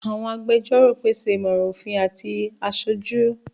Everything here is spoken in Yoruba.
Àwọn agbẹjọ́rò pèsè ìmọ̀ràn òfin àti aṣojú.